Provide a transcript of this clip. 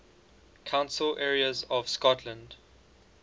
council areas of scotland